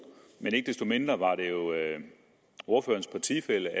men ikke desto mindre var det jo ordførerens partifælle